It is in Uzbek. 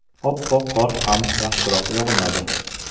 Oppoq qor ham yaxshiroq yog‘madi.